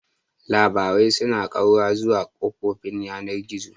Labarai suna ƙaura zuwa kafofin yanar gizo.